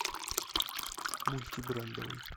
мультибрендовый